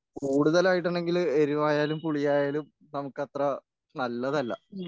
കൂടുതൽ ആയിട്ടുണ്ടെങ്കിൽ എരിവായാലും പുളി ആയാലും നമുക്കത്ര നല്ലതല്ല.